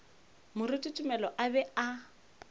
moruti tumelo a be a